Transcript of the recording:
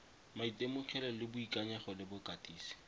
maitemogelo le boikanyego le bokatisi